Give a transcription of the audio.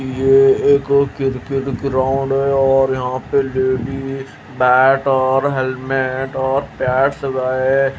ये एक cricket ground है और यहां पे लेडिस बैट और हेलमेट और पैड्स व है।